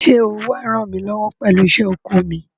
Ṣé ó wà á ràn mí lọ́wọ́ pẹ̀lú iṣẹ́ oko mi?